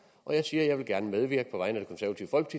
og jeg siger at jeg af medvirke